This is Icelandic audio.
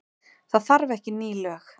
Það þarf ekki ný lög.